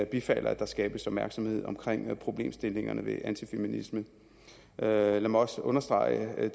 bifalder at der skabes opmærksomhed omkring problemstillingerne ved antifeminisme lad mig også understrege